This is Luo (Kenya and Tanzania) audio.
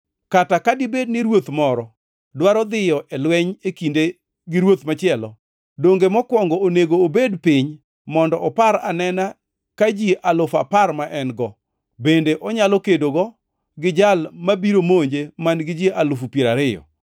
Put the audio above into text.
“Kata ka dibed ni ruoth moro dwaro dhiyo e lweny e kinde gi ruoth machielo. Donge mokwongo onego obed piny mondo opar anena ka ji alufu apar ma en-go bende onyalo kedogo gi jal mabiro monje man-gi ji alufu piero ariyo?